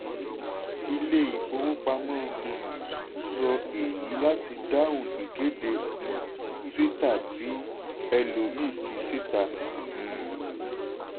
ilé-ifowopamọ́ um sọ èyí láti dáhùn ìkéde um twitter tí ẹlòmíì fi síta. um